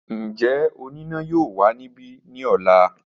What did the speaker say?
Njẹ onina yoo wa nibi ni ọla?